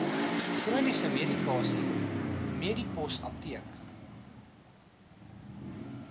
chroniese medikasie medipostapteek